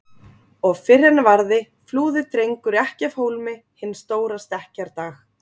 Og fyrr en varði flúði Drengur ekki af hólmi hinn stóra stekkjardag.